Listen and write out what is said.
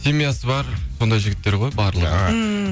семьясы бар сондай жігіттер ғой барлығы ммм